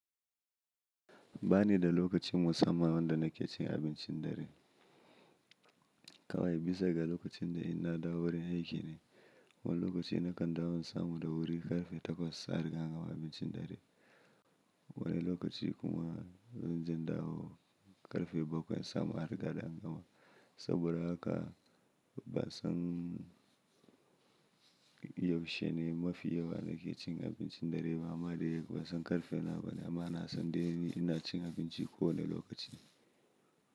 Ba ni da lokacin musamman da nake cin abincin dare. Kawai bisa ga lokacin da ina dawo wurin aiki ne. Wani lokaci na kan dawo samu da wuri ƙarfe takwas a riga an gama abincin dare. Wani lokaci kuma zan ji dawo ƙarfe bakwai sa mu a riga da an gama. Saboda haka ba san yaushe ne mafi yawa nake cin abincin dare ba ma dai ba san ƙarfe nawa ba, amma na san dai ina cin abinci kowane lokaci.